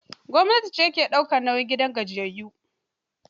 Gwamnati ce ke daukar nauyin gidan gajiyayyu